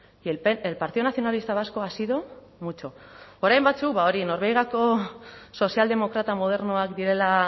que el partido nacionalista vasco ha sido mucho orain batzuek hori norbegiako sozialdemokrata modernoak direla